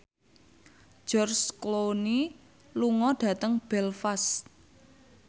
George Clooney lunga dhateng Belfast